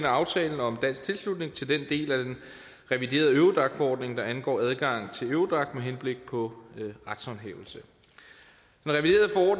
aftalen om dansk tilslutning til den del af den reviderede eurodac forordning der angår adgang til eurodac med henblik på retshåndhævelse